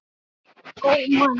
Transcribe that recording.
Nei, það geri ég ekki.